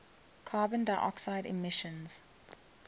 carbon dioxide emissions